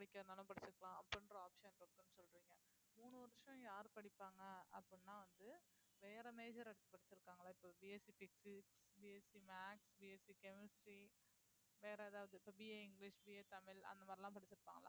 படிக்கிறதுனாலும் படிச்சுக்கலாம் அப்படின்ற option இருக்குன்னு சொல்றீங்க மூணு வருஷம் யாரு படிப்பாங்க அப்படின்னா வந்து வேற major எடுத்து படிச்சிருக்காங்களா இப்ப BSCphysicsBSCmathsBSCchemistry வேற ஏதாவது இப்ப BA இங்கிலிஷ் BA தமிழ் அந்த மாதிரி எல்லாம் படிச்சிருப்பாங்களா